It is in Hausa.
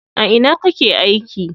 A ina kake aiki?